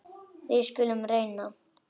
Við skulum reyna.